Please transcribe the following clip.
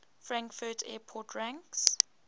frankfurt airport ranks